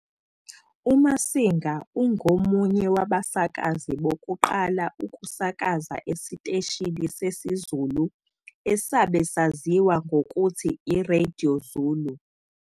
UMasinga ungomunye wabasakazi bokuqala ukusakaza esiteshini sesiZulu asabe saziwa ngokuthi i-Radio Zulu.